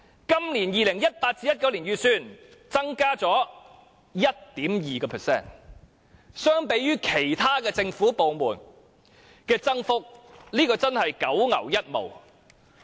今年 2018-2019 年度預算增加 1.2%， 相對於其他政府部門的增幅，這真的是九牛一毛。